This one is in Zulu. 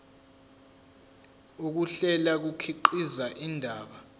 ukuhlela kukhiqiza indaba